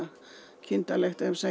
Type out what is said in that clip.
kindarlegt ef ég segi